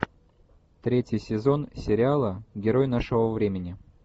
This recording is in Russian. третий сезон сериала герой нашего времени